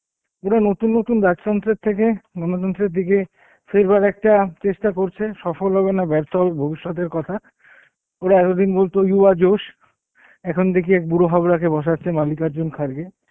পুরো নতুন নতুন দের থেকে, গণতন্ত্রের দিকে ফেরবার একটা চেষ্ঠা করছে সফল হবে না বের্থ হবে ভবিষৎ এর কথা, ওরা এতদিন বলতো you are যশ, এখন দেকচি এক বার হাবরা কে বসাচ্ছে মালিকওর্জুন খারগে